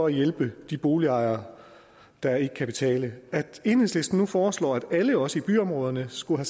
at hjælpe de boligejere der ikke kan betale enhedslisten foreslår nu at alle også i byområderne skulle